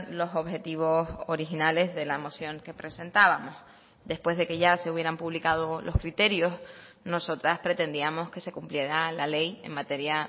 los objetivos originales de la moción que presentábamos después de que ya se hubieran publicado los criterios nosotras pretendíamos que se cumpliera la ley en materia